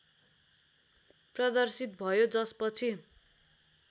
प्रदर्शित भयो जसपछि